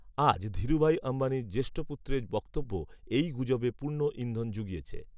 আজ, ধীরুভাই অম্বানীর জ্যেষ্ঠ পুত্রের বক্তব্য এই গুজবে পূর্ণ ইন্ধন জুগিয়েছে